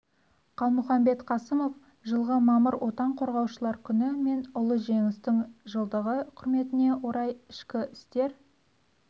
қалмұхамбет қасымов жылғы мамыр отан қорғаушылар күні мен ұлы жеңістің жылдығы құрметіне орай ішкі істер